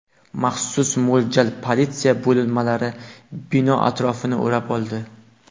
Maxsus mo‘ljal politsiya bo‘linmalari bino atrofini o‘rab oldi.